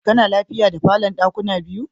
Kana lafiya da falon dakuna biyu?